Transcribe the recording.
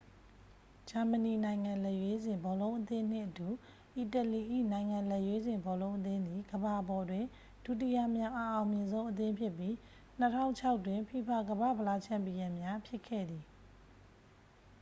ဂျာမဏီ နိုင်ငံလက်ရွေးစင် ဘောလုံးအသင်းနှင့်အတူ အီတလီ၏ နိုင်ငံလက်ရွေးစင် ဘောလုံးအသင်းသည် ကမ္ဘာပေါ်တွင် ဒုတိယမြောက် အအောင်မြင်ဆုံး အသင်းဖြစ်ပြီး 2006 တွင် ဖီဖာ ကမ္ဘာ့ဖလား ချန်ပီယံများ ဖြစ်ခဲ့သည်